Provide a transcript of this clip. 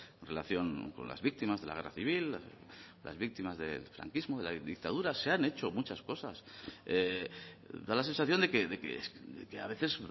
en relación con las víctimas de la guerra civil las víctimas del franquismo de la dictadura se han hecho muchas cosas da la sensación de que a veces